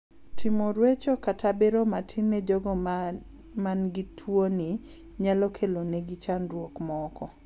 Timo ruecho katra bero matin ne jogo ma gi tuoni nyalo kelo ne gi chandruok moko.